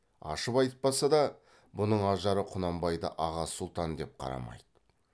ашып айтпаса да бұның ажары құнанбайды аға сұлтан деп қарамайды